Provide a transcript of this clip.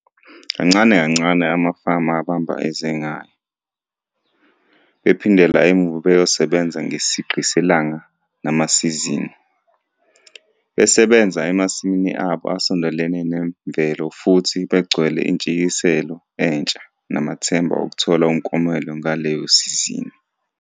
Kancane kancane amafama abamba eze ngayo, bephindela emuva beyosebenza ngesigqi selanga namasizini - besebenza emasimini abo asondelene neMvelo futhi begcwele intshisekelo entsha namathemba okuthola umklomelo ngaleyo sizini.